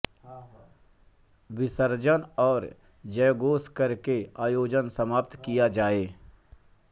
विसर्जन और जयघोष करके आयोजन समाप्त किया जाए